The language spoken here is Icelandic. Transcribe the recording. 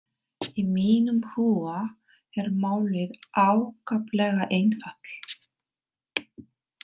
Í mínum huga er málið ákaflega einfalt.